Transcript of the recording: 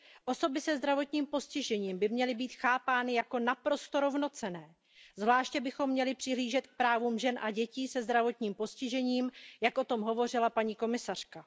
Osoby se zdravotním postižením by měly být chápány jako naprosto rovnocenné, zvláště bychom měli přihlížet k právům žen a dětí se zdravotním postižením, jak o tom hovořila paní komisařka.